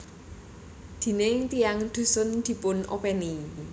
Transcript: Déning tiyang dhusun dipun openi